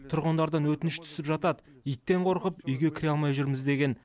тұрғындардан өтініш түсіп жатады иттен қорқып үйге кіре алмай жүрміз деген